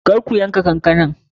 Kar ku yanka kankanan!